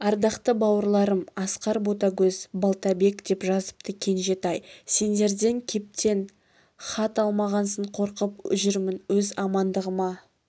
ардақты бауырларым асқар ботагөз балтабек деп жазыпты кенжетай сендерден кептен хат алмағансын қорқып жүрмін өз амандығыма